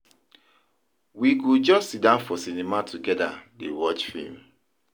We go just siddon for cinema togeda dey watch film.